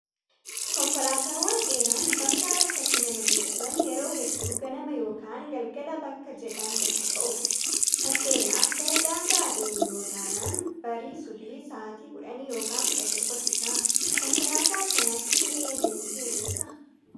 Konkolaataawwan dheeraan bakkaa bakkatti nama geejjiban yeroo hedduu ganama yookaan galgala bakka jedhan tokkoo ka'u. Fakkeenyaaf gara daangaa adeemuu yaada taanaan barii subii sa'aatii 10 yookaan 11 tti ka'a. Konkolaataa akkanaatii adeemtee beektaa?